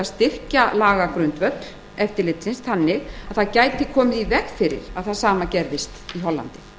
styrkja lagagrundvöll eftirlitsins þannig að það gæti komið í veg fyrir að það sama gerðist í hollandi